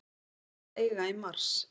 Hún á að eiga í mars.